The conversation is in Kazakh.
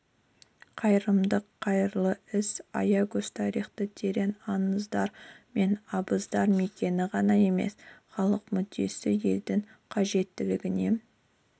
қайырымдылық қайырлы іс аягөз тарихы терең аңыздар мен абыздар мекені ғана емес халық мүддесі елдің қажеттілігіне